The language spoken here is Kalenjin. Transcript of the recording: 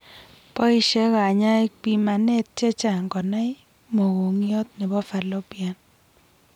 Poishe kanyaik pimanet chechang konai mokongiot nebo fallopian